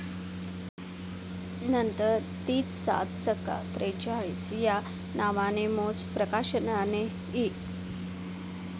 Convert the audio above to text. नंतर तीच 'सात सक्का त्रेचाळीस ' या नावाने मौज प्रकाशनाने इ.